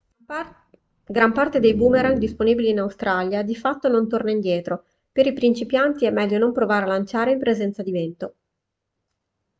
gran parte dei boomerang disponibili in australia di fatto non torna indietro per i principianti è meglio non provare a lanciare in presenza di vento